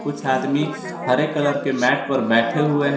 कुछ आदमी हरे कलर के मैट पर बैठे हुए हैं।